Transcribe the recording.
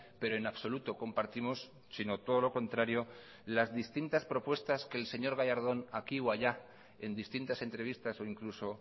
pero en absoluto compartimos sino todo lo contrario las distintas propuestas que el señor gallardón aquí o allá en distintas entrevistas o incluso